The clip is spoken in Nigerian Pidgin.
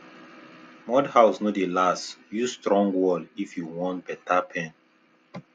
mud house no dey last use strong wall if you want better pen